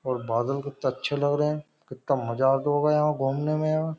और बादल कितने अच्छे लग रहे हैं कितना मजा आता होगा यहाँ घूमने में यहाँ।